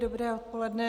Dobré odpoledne.